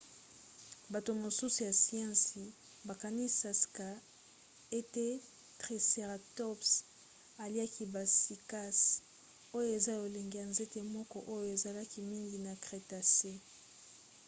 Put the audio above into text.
bato mosusu ya siansi bakaniska ete triceratops aliaki ba cycas oyo eza lolenge ya nzete moko oyo ezalaki mingi na crétacé